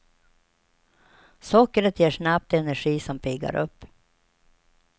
Sockret ger snabbt energi som piggar upp.